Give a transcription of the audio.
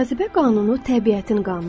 Cazibə qanunu təbiətin qanunudur.